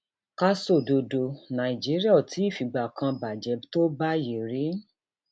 ká sọdọdọ nàìjíríà ó tí ì figbá kan bàjẹ tó báyìí rí